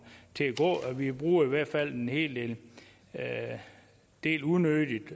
til at gå vi bruger i hvert fald en hel del unødigt